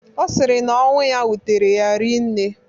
Ọ sịrị na ọnwụ ya wutere ya rii nne